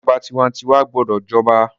ìjọba tiwantiwa gbọdọ j'oba